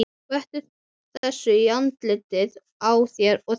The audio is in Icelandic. Skvettu þessu í andlitið á þér og þegiðu.